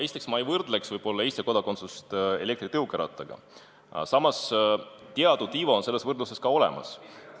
Esiteks, ma ei võrdleks Eesti kodakondsust elektritõukerattaga, aga teatud iva on selles võrdluses tõesti olemas.